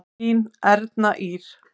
Þín Erna Ýr.